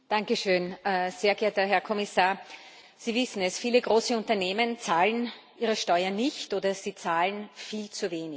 Frau Präsidentin, sehr geehrter Herr Kommissar! Sie wissen es Viele große Unternehmen zahlen ihre Steuern nicht, oder sie zahlen viel zu wenig.